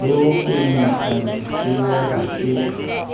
le ho fenethalesea ha ke